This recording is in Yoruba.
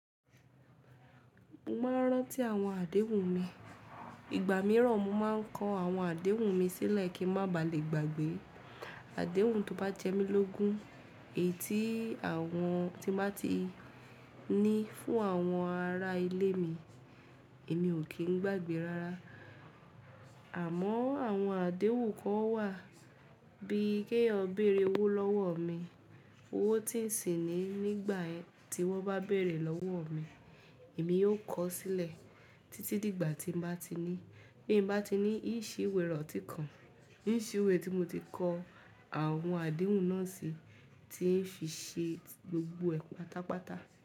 Mo máa ń rántí àwọn àdéhùn mi. Ìgbà mìíràn mo máa ń kọ àwọn àdéhùn mi sílẹ̀ kí ń má ba à le gbàgbé. Àdéhùn tó bá jẹ́ mi lógún, èyí tí àwọn tí máa ti ní fún àwọn ará ilé mi, èmi ò kí ń gbàgbé rárá. Àmọ́ àwọn àdéhùn kan wà bí i ki eeyan béèrè owó lọ́wọ́ mi, owó tí ń sì ní nígbà tí wọ́n bá béèrè lọ́wọ́ mi, èmi yóò kọ ó sílẹ̀ títí dìgbà tí mo bá ti ní. Bí mo bá ti ní, n ó ṣe iwè iranti kan, n ó ṣe iwe tí mo ti kọ àwọn àdéhùn náà sí, tí ń fi ṣe gbogbo ẹ̀ pátápátá.